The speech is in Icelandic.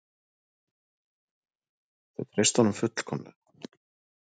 Þau treystu honum svo fullkomlega.